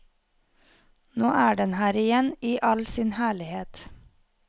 Nå er den her igjen i all sin herlighet.